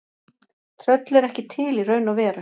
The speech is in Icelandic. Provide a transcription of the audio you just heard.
Tröll eru ekki til í raun og veru.